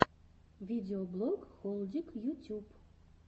видеоблог холдик ютюб